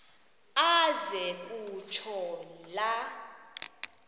aze kutsho la